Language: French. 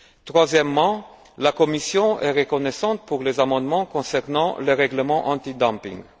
Troisièmement, la Commission est reconnaissante pour les amendements concernant le règlement anti dumping